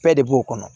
Bɛɛ de b'o kɔnɔ